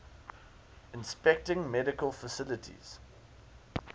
inspecting medical facilities